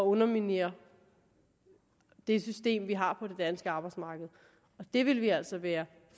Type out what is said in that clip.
underminere det system vi har på det danske arbejdsmarked det ville vi altså være